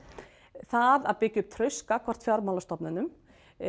það að byggja upp traust gagnvart fjármálastofnunum